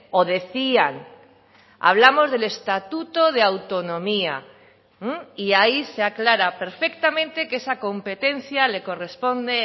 o decían hablamos del estatuto de autonomía y ahí se aclara perfectamente que esa competencia le corresponde